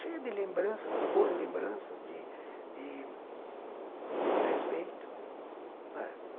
Cheia de lembranças, de boas lembranças, de de de respeito, não é?